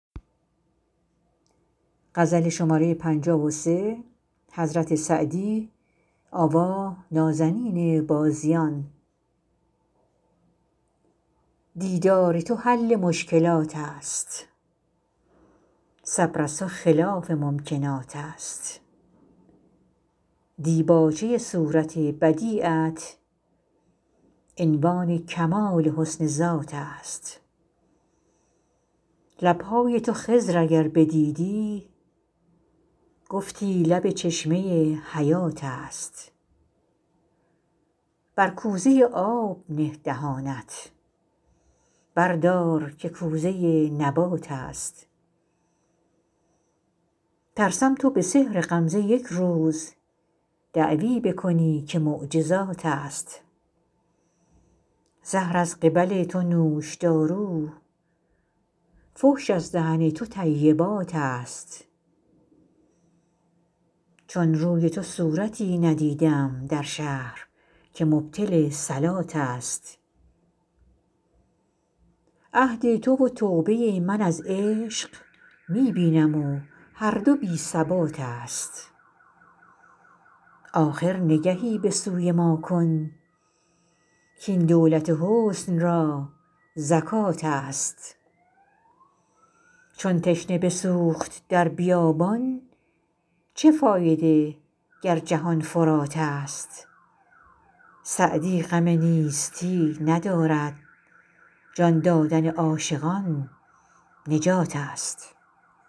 دیدار تو حل مشکلات است صبر از تو خلاف ممکنات است دیباچه صورت بدیعت عنوان کمال حسن ذات است لب های تو خضر اگر بدیدی گفتی لب چشمه حیات است بر کوزه آب نه دهانت بردار که کوزه نبات است ترسم تو به سحر غمزه یک روز دعوی بکنی که معجزات است زهر از قبل تو نوشدارو فحش از دهن تو طیبات است چون روی تو صورتی ندیدم در شهر که مبطل صلات است عهد تو و توبه من از عشق می بینم و هر دو بی ثبات است آخر نگهی به سوی ما کن کاین دولت حسن را زکات است چون تشنه بسوخت در بیابان چه فایده گر جهان فرات است سعدی غم نیستی ندارد جان دادن عاشقان نجات است